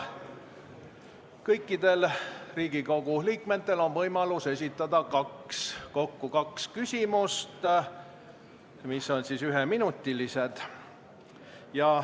Kõikidel Riigikogu liikmetel on võimalus esitada kokku kaks küsimust, mis on üheminutilised.